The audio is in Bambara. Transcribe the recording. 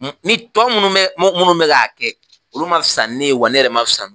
Ni tɔ munnu b munnu be k'a kɛ olu ma fisa ni ne ye wa ne yɛrɛ ma fisa